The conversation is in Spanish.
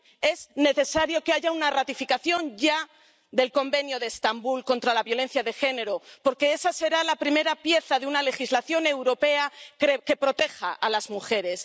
Es necesario que haya una ratificación ya del Convenio de Estambul contra la violencia de género, porque esa será la primera pieza de una legislación europea que proteja a las mujeres.